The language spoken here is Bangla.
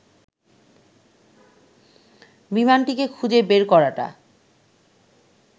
বিমানটিকে খুঁজে বের করাটা